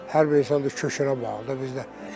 Hər bir insan da köçünə bağlıdır da bizdə.